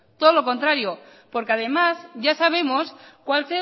todo lo contrario porque además ya sabemos cuál